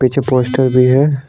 पीछे पोस्टर भी है ।